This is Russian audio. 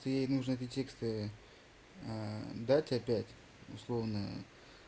ей нужно текста дать опять условное